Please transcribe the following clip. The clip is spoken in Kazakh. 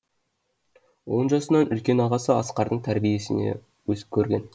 он жасынан үлкен ағасы асқардың тәрбиесіне көрген